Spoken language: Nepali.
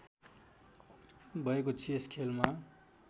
भएको चेस खेलमा